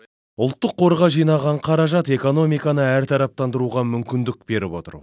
ұлттық қорға жинаған қаражат экономиканы әртараптандыруға мүмкіндік беріп отыр